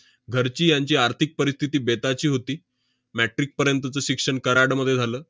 घरची यांची आर्थिक परिस्थिती बेताची होती. metric पर्यंतचं शिक्षण कराडमध्ये झालं.